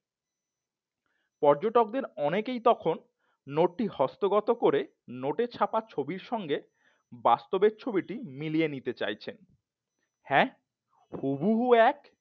পর্যটকদের অনেকেই তখন নোটটি হস্তগত করে নোটে ছাপা ছবির সাথে বাস্তবের ছবিটি মিলিয়ে নিতে চাইছেন। হ্যাঁ হুবহু এক।